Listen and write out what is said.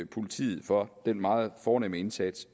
politiet for den meget fornemme indsats